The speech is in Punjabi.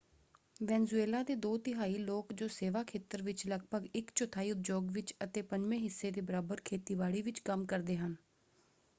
ਵੈਨਜ਼ੂਏਲਾ ਦੇ ਦੋ ਤਿਹਾਈ ਲੋਕ ਜੋ ਸੇਵਾ ਖੇਤਰ ਵਿੱਚ ਲਗਭਗ ਇੱਕ ਚੌਥਾਈ ਉਦਯੋਗ ਵਿੱਚ ਅਤੇ ਪੰਜਵੇਂ ਹਿੱਸੇ ਦੇ ਬਰਾਬਰ ਖੇਤੀਬਾੜੀ ਵਿੱਚ ਕੰਮ ਕਰਦੇ ਹਨ।